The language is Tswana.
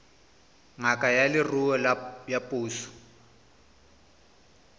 ngaka ya leruo ya puso